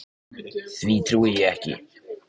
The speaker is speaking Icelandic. Því trúi ég ekki.